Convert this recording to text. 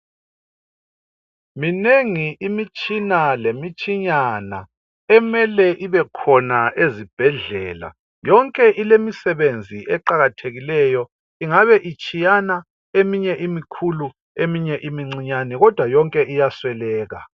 Minengi imitshina lemitshinyana, emele ibe khona ezibhedlela. Yonke ilemisebenzi eqakathekileyo, ingabe itshiyana eminye imikhulu eminye imincinyane kodwa yonke iyasweleka.